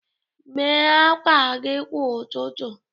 Mee akwa gị kwa ụtụtụ.